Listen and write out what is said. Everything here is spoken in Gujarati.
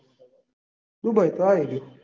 દુબઇ તો આઈ રહ્યું.